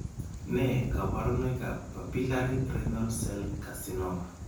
Nee kabarunoikab Papillary renal cell Carcinoma?